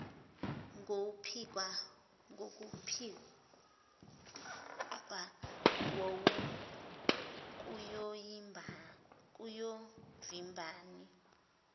ngokupikla wowu kuyovimbani